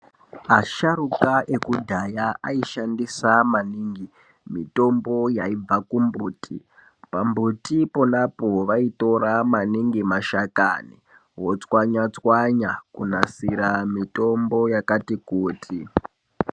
Asharukwa ekudhaya aishandisa maningi mitombo yaibva kumbuti. Pambuti ponapo vaitora maningi mashakani vochwanya-chwanya kunasira mitombo yakati kuti.